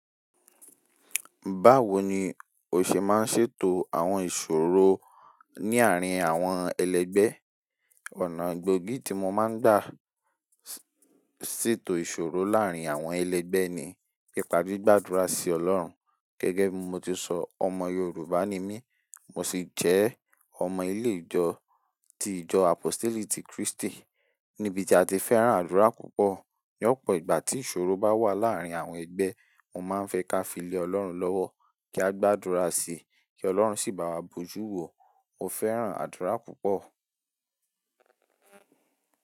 Báwo ni o ṣe máa ń ṣètò àwọn ìṣòro ní àárín àwọn ẹlẹgbẹ́? Ọ̀nà gbogi tí mo máa ń gbà ṣètò ìṣòro láàrin àwọn ẹlẹ́gbẹ́ ni nípa gbígbàdúrà sí Ọlọ́run. Gẹ́gẹ́ bí mo ti sọ, ọmọ Yorùbá ni mí, mo sì jẹ́ ọmọ ilé ìjọ tí ìjọ apositeli ti kiristi níbi tí a ti fẹ́ràn àdúrà púpọ̀. Ní ọ̀pọ̀ ìgbà tí ìṣòro bá wà láàárín àwọn ẹgbẹ́, mo máa ń fẹ́ ká filé Ọlọ́run lọ́wọ́ kí a gbàdúrà sí i, kí Ọlọ́run sì bá wa bojú wo. Mo fẹ́ràn àdúrà púpọ̀.